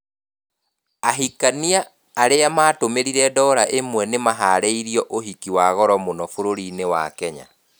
Ahikania alimatũmĩrire ndora ĩmwe tu nĩmaharĩrio uhiki wa goro muno bũrũri-inĩ wa Kenya